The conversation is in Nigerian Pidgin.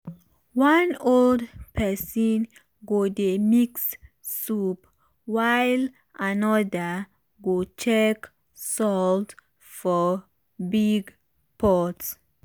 one old person go dey mix soup while another go check salt for big pot.